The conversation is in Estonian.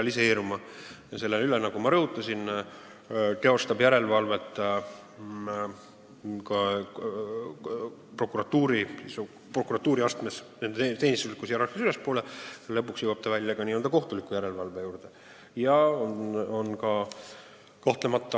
Ja selle üle, nagu ma rõhutasin, teostab prokuratuuriastmes järelevalvet nende teenistuslikus hierarhias ülalpool olija ja lõpuks võidakse välja jõuda ka kohtuliku järelevalveni.